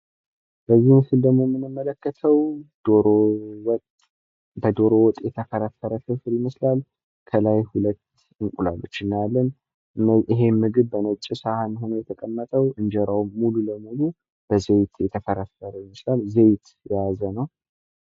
በምስሉ ላይ የምንመለከተው በዶሮ ወጥ የተፈረፈረ ፍርፍር ይመስላል። ከላይ ሁለት እንቁላሎች ይታያል። ይህ ምግብ በነጭ ሳህን ሁኖ የተቀመጠ ነው ።በወጥ የተፈረፈረ ይመስላል። ዘይት የያዘ ነው